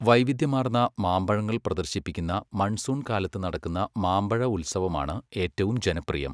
വൈവിധ്യമാർന്ന മാമ്പഴങ്ങൾ പ്രദർശിപ്പിക്കുന്ന മൺസൂൺ കാലത്ത് നടക്കുന്ന മാമ്പഴ ഉത്സവമാണ് ഏറ്റവും ജനപ്രിയം.